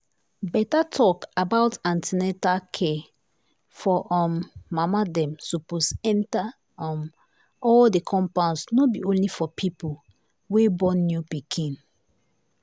better talk about an ten na true care for um mama dem suppose enter um all the compounds no be only for people wey born new pikin.